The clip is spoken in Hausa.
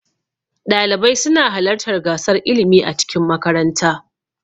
Ɗalibai suna halarta gasar ilmi a cikin makaranta.